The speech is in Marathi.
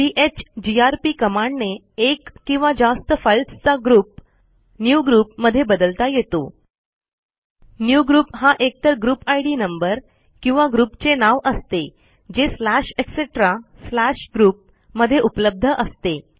चीजीआरपी कमांडने एक किंवा जास्त फाईल्सचा ग्रुप न्यूग्रुप मधे बदलता येतो न्यूग्रुप हा एकतर ग्रुप इद नंबर किंवा ग्रुप चे नाव असते जे स्लॅश ईटीसी स्लॅश ग्रुप मध्ये उपलब्ध असते